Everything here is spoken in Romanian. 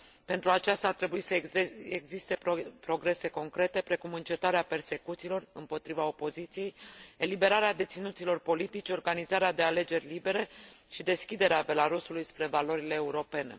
Pentru aceasta, ar trebui să existe progrese concrete, precum încetarea persecuțiilor împotriva opoziției, eliberarea deținuților politici, organizarea de alegeri libere și deschiderea Belarusului spre valorile europene.